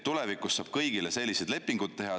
Tulevikus saab kõigile selliseid lepinguid teha.